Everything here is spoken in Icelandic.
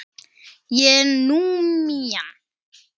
Ég er múmían.